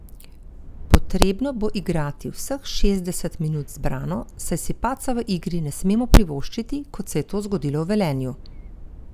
Potrebno bo igrati vseh šestdeset minut zbrano, saj si padca v igri ne smemo privoščiti, kot se je to zgodilo v Velenju.